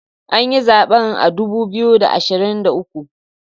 An yi zaben a dubu biyu da ashirin da uku